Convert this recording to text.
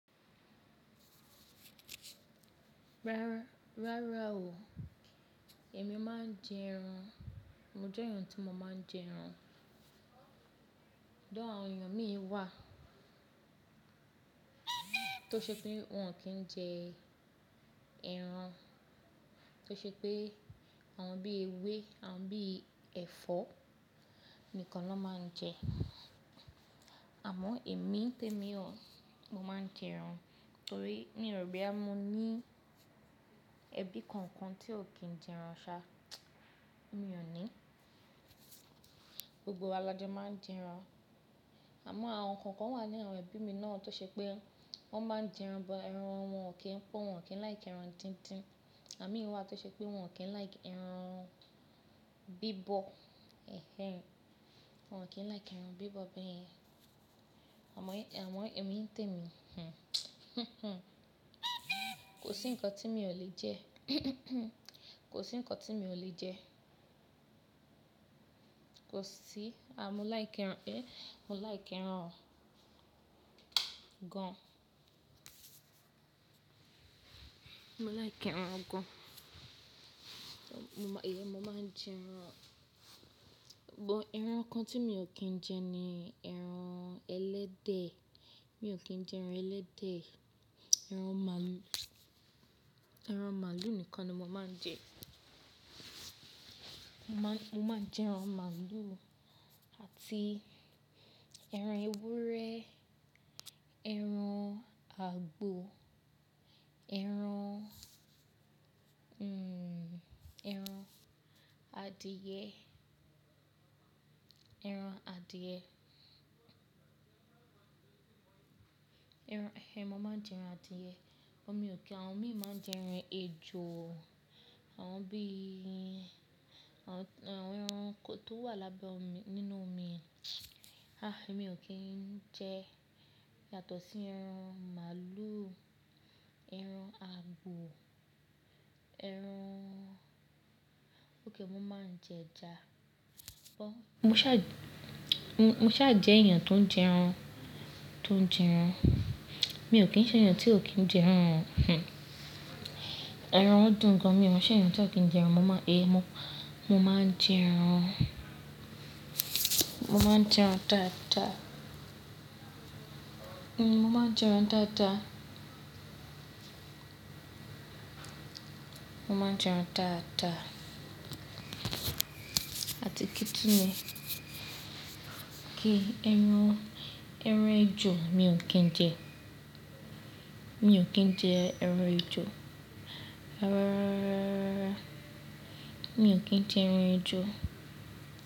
Rárá o, èmi máa ń jẹ ẹran. Mo jẹ́ èèyàn tí mo máa ń jẹ ẹran. Tori, àwọn èèyàn mí wà tó ṣe pé wọ́n kì n jẹ ẹran, tó ṣe pé àwọn bí i ewé, àwọn bí i ẹ̀fọ́ nìkan ni wọ́n máa ń jẹ. Àmọ́ èmi, nté mi ò, mo máa ń jẹ ẹran torí mio ro boyá, mo ní ẹbí kankan tí ò kí ń jẹ ẹran ṣá, mi ò ní. Gbogbo wa la jo máa ń jẹ ẹran. Àmọ́ àwọn kookan wà ní àwọn ẹbí mi náà tó ṣe pé wọ́n máa ń jẹ ẹran, but ẹran wọn ò kí ń pọ́, wọ́n ò kí ń láì kí ẹran dindín. Àwon mii wà tó ṣe pé wọn ò kí ń like ẹran bíbọ̀. Ẹ̀hẹ́n, wọ́n ò kí ń láìkí ẹran bíbọ̀ bẹ́yen. Àmọ́ èmi nte mi hinh, kò sí nǹkan tí mi ò lè jẹ. Kò sí nǹkan tí mi ò lè jẹ. Kò sí À mo láìkí ẹran, eh! Mo láìkí ẹran gaan. Mo láìkí ẹran gan. So mo máa, iyen mo máa ń jẹ ẹran. But ẹran kan tí mi ò kí ń jẹ ni ẹran ẹlẹ́dẹ̀. Mi ò kí ń jẹ ẹran ẹlẹ́dẹ̀. Ẹran ma- ẹran màlúù nìkan ni mo máa ń jẹ. Mo máa, mo máa n jẹ ẹran màlúù àti ẹran ewúrẹ́, ẹran àgbò, ẹran, hmm, ẹran adìyẹ, ẹran adìe. Ẹran, ẹhẹ́n, mo máa ń jẹ ẹran adìye. But mi ò kí, àwọn mí máa ń jẹ ẹran ejò, àwọn bí i, àwọn ẹranko tó wà lábẹ́ omi, nínú omi há! Èmi ò kí ń jẹ yàtọ̀ sí ẹran màlúù, ẹran àgbò, ẹran Ókay, mò máa ń jẹ ẹja. But mo ṣà, mo ṣà jẹ́ èèyàn tó ń jẹ ẹran, tó ń jẹ ẹran. Mi ò kí ń ṣe èèyàn tí ò kí ń jẹ ẹran o. Hih. Ẹran dùn gan. Mi ò n ṣe èèyàn tí ò kí ń jẹ ẹran. Mo máa, eh! Mo, mo máa ń jẹ ẹran. Mo máa ń jẹ ẹran daadaa Hmm, mo máa ń jẹ ẹran daadaa. Mo máa ń jẹ ẹran tata àti kí tún ní. Ki ẹran, ẹran ejò mi ò kí ń jẹ. Mi ò kí ń jẹ ẹran ejò o.